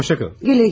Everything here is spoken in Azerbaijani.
Hoşça kalın.